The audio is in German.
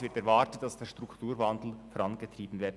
Es wird erwartet, dass der Strukturwandel vorangetrieben wird.